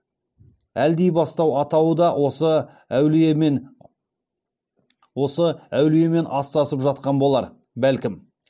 әлдибастау атауы да осы әулиемен астасып жатқан болар бәлкім